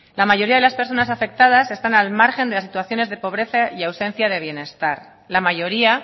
la mayoría de las personas afectadas están al margen de las situaciones de pobreza y ausencia de bienestar la mayoría